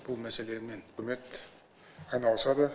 бұл мәселемен үкімет айналысады